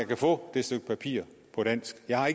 kan få det stykke papir på dansk jeg har